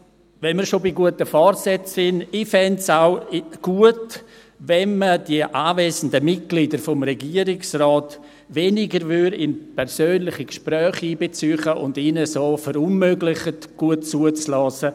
Wenn wir schon bei guten Vorsätzen sind: Ich fände es auch gut, wenn man die anwesenden Mitglieder des Regierungsrates weniger in persönliche Gespräche einbezöge und ihnen so verunmöglicht, gut zuzuhören.